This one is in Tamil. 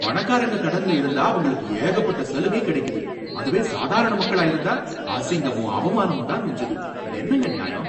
பணக்காரங்க கடன்ல இருந்தா அவங்களுக்கு ஏகப்பட்ட சலுகை கிடைக்குது, அதுவே சாதாரண மக்களா இருந்தா அசிங்கமும் அவமானமும் தான் மிஞ்சுது, இது என்னங்க நியாயம்?